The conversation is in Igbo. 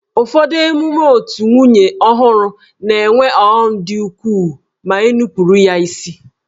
Ụfọdụ emume otù nwunye ọhụrụ na-enwe ọghọm dị ukwuu ma e nupụrụ ya isi.